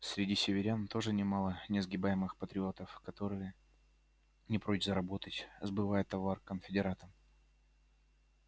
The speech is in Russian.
среди северян тоже немало несгибаемых патриотов которые не прочь заработать сбывая товар конфедератам